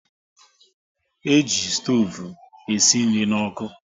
E ji stoovu e si nri n'ọkụ